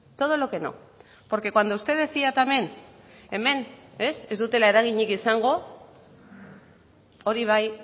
todo lo que no porque cuando usted decía también hemen ez dutela eraginik izango hori bai